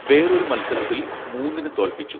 വേറൊരു മൽസരത്തിൽ മൂന്നിന് തോൽപ്പിച്ചു